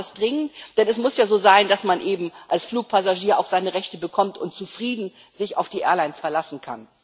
Wir brauchen das dringend, denn es muss ja so sein, dass man eben als Fluggast auch seine Rechte bekommt und sich auf die Airlines verlassen kann.